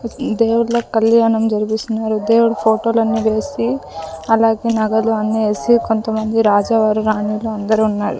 దేవుళ్ళ కళ్యాణం జరిపిస్తున్నారు దేవుడు ఫోటోలు అన్నీ వేసి అలాగే నగలు అన్ని వేసి కొంతమంది రాజవారు రాణీలు అందరూ ఉన్నారు.